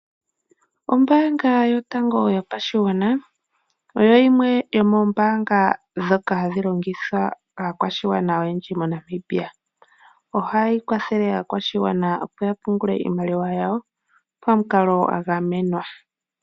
Ombaanga yotango yopashigwana, oyo yimwe yomoombnga ndhoka hadhi longithwa kaakwashigwana oyendji yomoNamibia. Oha yi kwathele aakwashigwana opo yapungule iimaliwa yawo pamukalo gwagamenwa.